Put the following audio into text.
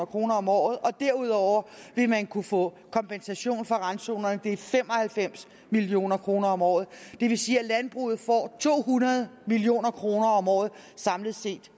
kroner om året og derudover vil man kunne få kompensation for randzonerne det er fem og halvfems million kroner om året det vil sige at landbruget får to hundrede million kroner om året samlet set